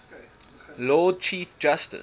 lord chief justice